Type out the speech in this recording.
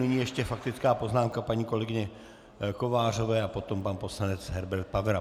Nyní ještě faktická poznámka paní kolegyně Kovářové a potom pan poslanec Herbert Pavera.